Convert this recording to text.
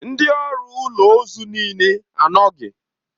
Ndị ọrụ ụlọ ozu niile anọghị.